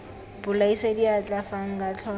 bolaisa diatla fa nka tlhola